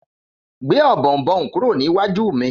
Gbé Ọ̀bọ̀ọ̀nbọọ̀n kúrò ní iwájú mí.